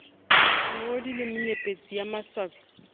moodi le menyepetsi ye maswabi